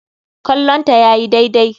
Kallonta yayi daidai.